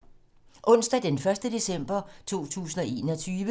Onsdag d. 1. december 2021